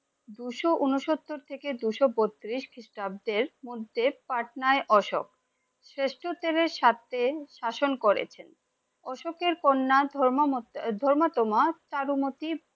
দুশো ঊনসত্তর থেকে দুশো বত্তিরিশ খ্রীষ্টাব্দের মধ্যে পাটনায় অশোক শ্রেষ্ঠ সাথে শাসন করে। অশোকের কন্যা ধর্মাত্মা